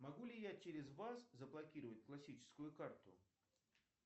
могу ли я через вас заблокировать классическую карту